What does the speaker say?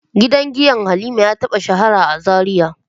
Gidan giya Halima ya taba shahara a Zaria.